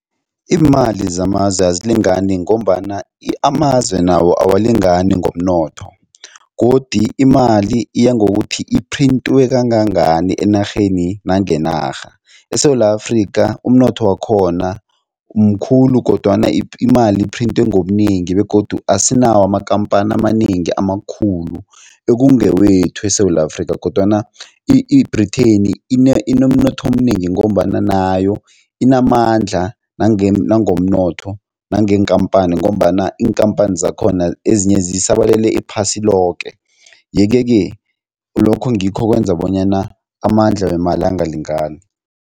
Iimali zamazwe azilingani ngombana amazwe nawo awalingani ngomnotho godi imali iyangokuthi iphrintwe kangangani enarheni nangenarha. ESewula Afrika umnotho wakhona mkhulu kodwana imali iphrintwe ngobunengi begodu asinawo amakhamphani amanengi amakhulu ekungewethu eSewula Afrika kodwana i-Britain inomnotho omnengi ngombana nayo inamandla nangomnotho nangeenkhamphani ngombana iinkhamphani zakhona ezinye zisabalele iphasi loke yeke-ke lokho ngikho okwenza bonyana amandla wemali angalingani.